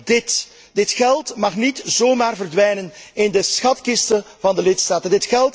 op. Alleen, dit geld mag niet zomaar verdwijnen in de schatkisten van de lidstaten.